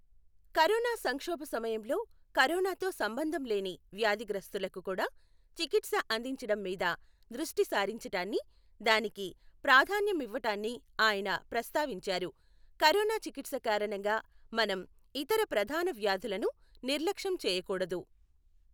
Corona సంక్షోభ సమయంలో కరోనాతో సంబంధం లేని వ్యాధిగ్రస్తులకు కూడా చికిత్స అందించటం మీద దృష్టి సారించటాన్ని, దానికి ప్రాధాన్యమివ్వటాన్ని ఆయన ప్రస్తావించారు. కరోనా చికిత్స కారణంగా మనం ఇతర ప్రధాన వ్యాధులను నిర్లక్ష్యం చేయకూడదు.